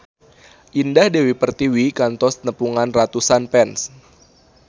Indah Dewi Pertiwi kantos nepungan ratusan fans